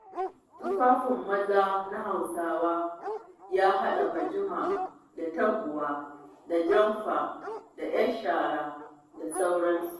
Tufafin maza na Husawa yahaɗa bujima da taguwa da jamfa da 'yan shara da sauransu.